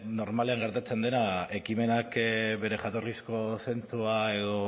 normalean gertatzen dena ekimenak bere jatorrizko zentzua edo